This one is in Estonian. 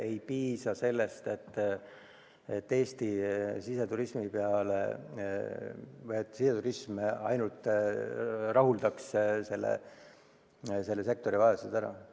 Ei piisa ainult siseturismist, et kogu selle sektori vajadused rahuldada.